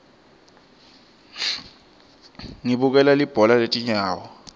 ngibukela libhola letinyawo